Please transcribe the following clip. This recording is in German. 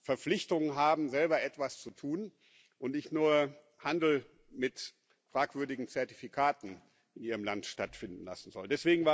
Verpflichtungen haben, selber etwas zu tun und nicht nur Handel mit fragwürdigen Zertifikaten in ihrem Land stattfinden lassen sollen.